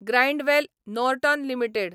Grindwell Norton limited